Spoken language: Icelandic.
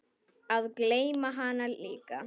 Og geyma hana líka.